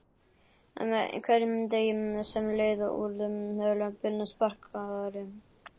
Með hverjum degi sem leið urðu lömbin spakari.